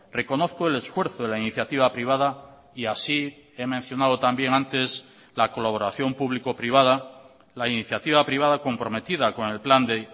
reconozco el esfuerzo de la iniciativa privada y así he mencionado también antes la colaboración público privada la iniciativa privada comprometida con el plan de